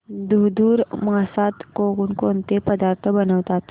धुंधुर मासात कोणकोणते पदार्थ बनवतात